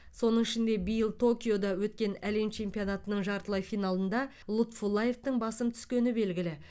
соның ішінде биыл токиода өткен әлем чемпионатының жартылай финалында лутфуллаевтың басым түскені белгілі